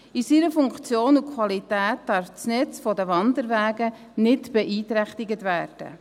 In seiner Funktion und Qualität darf das Netz der Wanderwege nicht beeinträchtigt werden.